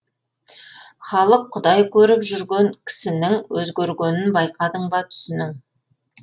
халық құдай көріп жүрген кісінің өзгергенін байқадың ба түсінің